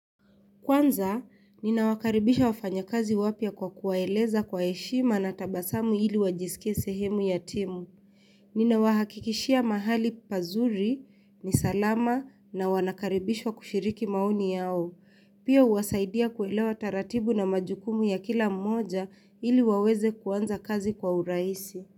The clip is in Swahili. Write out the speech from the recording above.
Kwanza, ninawakaribisha wafanyakazi wapya kwa kuwaeleza kwa heshima na tabasamu ili wajisike sehemu ya timu. Ninawahakikishia mahali pazuri, ni salama na wanakaribishwa kushiriki maoni yao. Pia huwasaidia kuelewa taratibu na majukumu ya kila mmoja ili waweze kuanza kazi kwa uraisi.